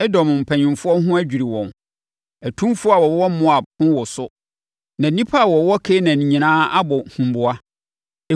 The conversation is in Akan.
Edom mpanimfoɔ ho adwiri wɔn. Atumfoɔ a wɔwɔ Moab ho woso. Na nnipa a wɔwɔ Kanaan nyinaa abɔ huboa.